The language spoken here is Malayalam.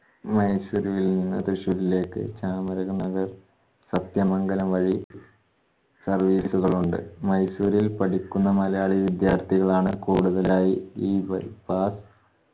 മൈസൂരുവിൽനിന്നു തൃശ്ശൂരിലേക്ക് ചാമരാജ്നഗർ സത്യമംഗലം വഴി service ഉകൾ ഉണ്ട്. മൈസൂരിൽ പഠിക്കുന്ന മലയാളീ വിദ്യാർത്ഥികളാണ് കൂടുതലായി ഈ bypass